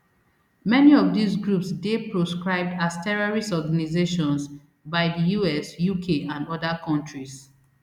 many of dis groups dey proscribed as terrorist organisations by di us uk and oda kontris